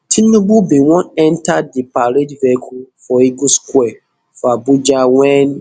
tinubu bin wan enta di parade vehicle for eagle square for abuja wen